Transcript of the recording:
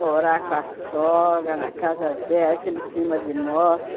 Morar com a sogra, na casa dela, aquele clima de morte.